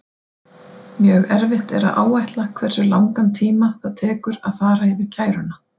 Mjög erfitt er að áætla hversu langan tíma það tekur að fara yfir kæruna.